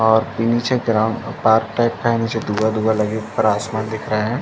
और इ निचे ग्राउंड पार्क टाइप का है निचे धुआँ-धुआँ लगी ऊपर आसमान दिख रहा है।